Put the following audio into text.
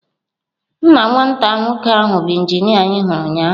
Nna nwata nwoke ahụ bụ injinia anyị hụrụ ụnyahụ.